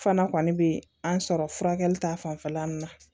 Fana kɔni bɛ an sɔrɔ furakɛli ta fanfɛla min na